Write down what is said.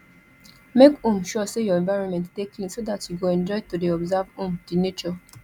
make um sure say your environment de clean so that you go enjoy to de observe um di nature